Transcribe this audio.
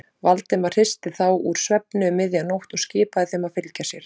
Valdimar hristi þá úr svefni um miðja nótt og skipaði þeim að fylgja sér.